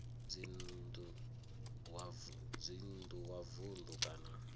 dzinn ḓu wa vunḓu kana